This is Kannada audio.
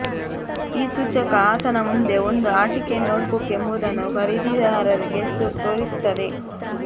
ಈ ಸೂಚಕ ಆತನ ಮುಂದೆ ಒಂದು ಆಟಿಕೆ ನೋಟ್ಬುಕ್ ಎಂಬುದನ್ನು ಖರೀದಿದಾರರಿಗೆ ತೋರಿಸುತ್ತದೆ